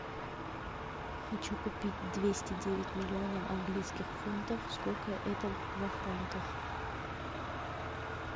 хочу купить двести девять миллионов английских фунтов сколько это во франках